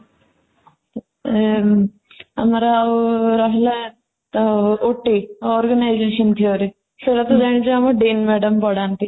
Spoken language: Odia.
ଏଁ ଆମର ଆଉ ରହିଲା ତ OTorganization theory ସେରାତ ଜାଣିଛ ଆମର DN madam ପଢାନ୍ତି